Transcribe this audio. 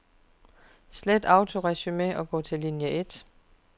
Slet autoresumé og gå til linie et.